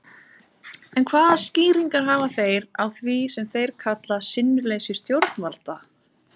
En hvaða skýringar hafa þeir á því sem þeir kalla sinnuleysi stjórnvalda?